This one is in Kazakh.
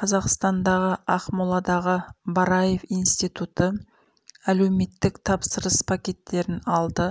қазақстандағы ақмоладағы бараев институты әлеуметтік тапсырыс пакеттерін алды